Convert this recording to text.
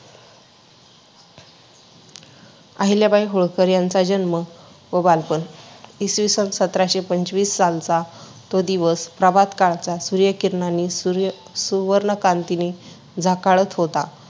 आहिल्याबाई होळकर यांचा जन्म व बालपण इसवीसन सतराशे पंचवीस सालचा तो दिवस प्रभात काळचा सूर्यकिरणाने सूर्य सुवर्णक्रांतीने झकाळत होता.